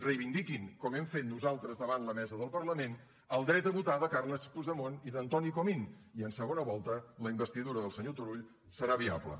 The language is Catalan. reivindiquin com hem fet nosaltres davant la mesa del parlament el dret a votar de carles puigdemont i d’antoni comín i en segona volta la investidura del senyor turull serà viable